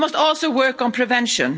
But we must also work on prevention.